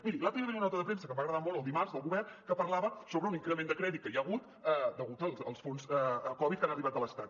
miri l’altre dia hi va haver una nota de premsa que em va agradar molt el dimarts del govern que parlava sobre un increment de crèdit que hi ha hagut degut als fons covid que han arribat de l’estat